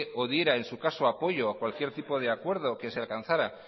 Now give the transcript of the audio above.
o diera en su caso apoyo a cualquier tipo de acuerdo que se alcanzara